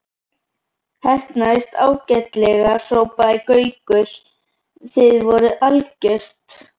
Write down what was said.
Heppnaðist ágætlega hrópaði Gaukur, þið voruð algjört.